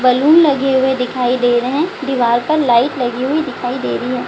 Balloon लगे हुवे दिखाई दे रहे है। दीवार पर लाइट लगी हुवी दिखाई दे रही है।